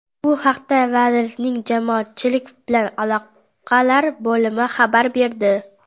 Bu haqda vazirlikning jamoatchilik bilan aloqalar bo‘limi xabar berdi.